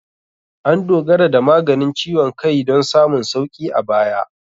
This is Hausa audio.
An dogara da maganin ciwon kai don samun sauƙi a baya.